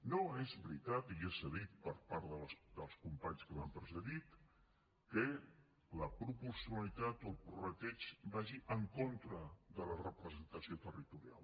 no és veritat i ja s’ha dit per part dels companys que m’han precedit que la proporcionalitat o el prorrateig vagi en contra de la representació territorial